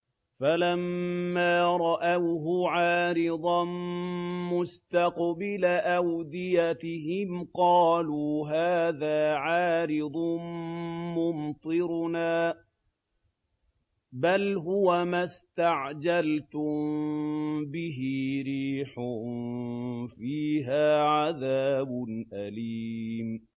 فَلَمَّا رَأَوْهُ عَارِضًا مُّسْتَقْبِلَ أَوْدِيَتِهِمْ قَالُوا هَٰذَا عَارِضٌ مُّمْطِرُنَا ۚ بَلْ هُوَ مَا اسْتَعْجَلْتُم بِهِ ۖ رِيحٌ فِيهَا عَذَابٌ أَلِيمٌ